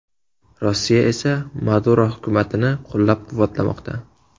Rossiya esa Maduro hukumatini qo‘llab-quvvatlamoqda.